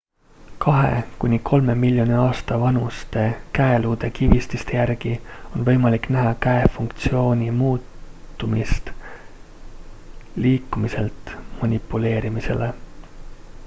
kahe kuni kolme miljoni aasta vanuste käeluude kivististe järgi on võimalik näha käe funktsiooni muutumist liikumiselt manipuleerimisele